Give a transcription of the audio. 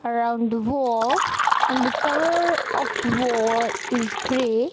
around the wall and the colour of the wall is grey.